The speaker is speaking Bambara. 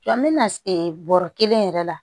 Sɔn bɛna e bɔrɔ kelen yɛrɛ la